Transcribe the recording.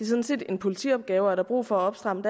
sådan set en politiopgave og er der brug for at stramme